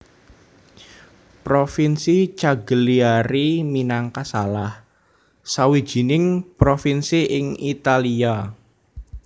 Provinsi Cagliari minangka salah sawijining provinsi ing Italia